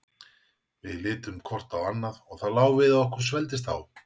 Við litum hvort á annað og það lá við að okkur svelgdist á.